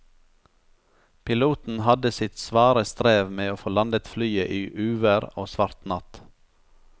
Piloten hadde sitt svare strev med å få landet flyet i uvær og svart natt.